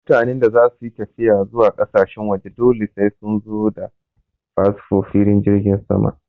Mutanen da zasu yi tafiya zuwa ƙasashen waje dole sai sun zo da fasfo filin jirgin sama